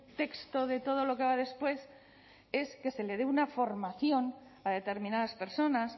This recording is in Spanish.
texto de todo lo que va después es que se le dé una formación a determinadas personas